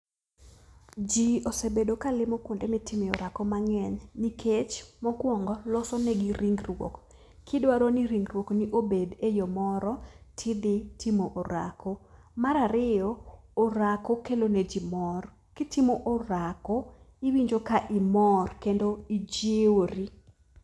Ji osebedo kalimo kuonde mitime orako mang'eny, nikech mokwongo losonegi ringruok. Kidwaro ni ringruokni obed e yo moro, ti dhi orako. Mar ariyo, orako kelo ne ji mor. Kitimo orako tiwinjo kimor kendo ijiwori.